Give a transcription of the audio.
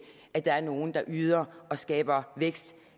at der er nogle der yder og skaber vækst